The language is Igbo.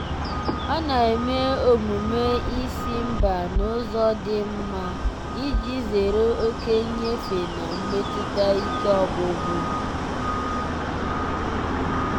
ọ na-eme omume ịsị mba n'ụzọ dị mma iji zere oke nyefe na mmetụta ike ọgwụgwụ.